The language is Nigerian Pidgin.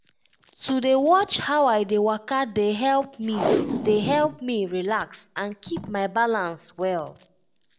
to dey watch how i dey waka dey help me dey help me relax and keep my balance well.